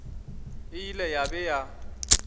e ile ya be ya